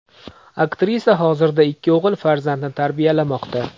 Aktrisa hozirda ikki o‘g‘il farzandni tarbiyalamoqda.